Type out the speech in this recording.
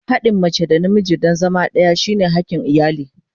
Haɗin mace da namiji don zama ɗaya shine hakin iyali.